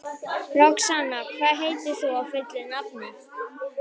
Roxanna, hvað heitir þú fullu nafni?